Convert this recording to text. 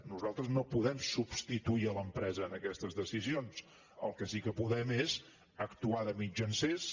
nosaltres no podem substituir l’empresa en aquestes decisions el que sí que podem és actuar de mitjancers